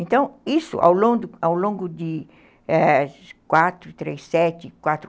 Então, isso, ao longo de ao longo de quatro, eh, quatro, três, sete, quatro